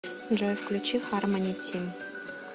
джой включи хармони тим